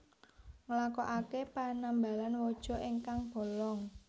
Nglakoake penambalan waja ingkang bolong